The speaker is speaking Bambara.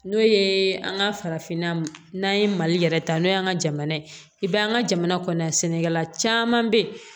N'o ye an ka farafinna n'an ye mali yɛrɛ ta n'o y'an ka jamana ye i b'a an ka jamana kɔnɔ yan sɛnɛkɛla caman bɛ yen